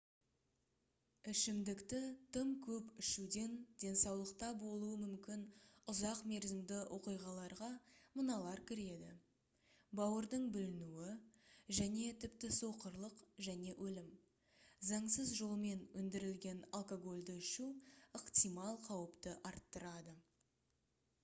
ішімдікті тым көп ішуден денсаулықта болуы мүмкін ұзақ мерзімді оқиғаларға мыналар кіреді бауырдың бүлінуі және тіпті соқырлық және өлім заңсыз жолмен өндірілген алкогольді ішу ықтимал қауіпті арттырады